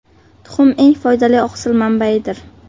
Tuxum Tuxum eng foydali oqsil manbaidir.